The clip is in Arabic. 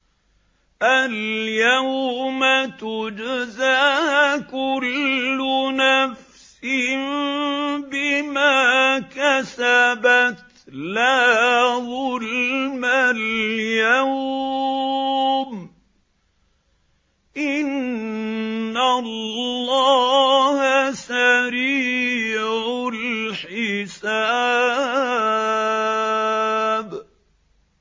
الْيَوْمَ تُجْزَىٰ كُلُّ نَفْسٍ بِمَا كَسَبَتْ ۚ لَا ظُلْمَ الْيَوْمَ ۚ إِنَّ اللَّهَ سَرِيعُ الْحِسَابِ